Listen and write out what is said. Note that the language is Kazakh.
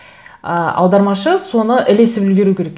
і аудармашы соны ілесіп үлгеру керек